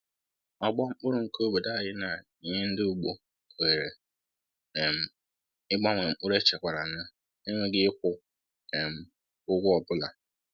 Ọgbọ mkpụrụ nke obodo anyị na-enye ndị ugbo ohere um ịgbanwe mkpụrụ echekwara na-enweghị ịkwụ um ụgwọ ọ bụla.